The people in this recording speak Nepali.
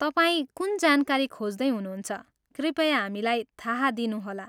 तपाईँ कुन जानकारी खोज्दै हुनुहुन्छ, कृपया हामीलाई थाहा दिनुहोला।